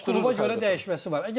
Yəni onu bir qolba görə dəyişməsi var.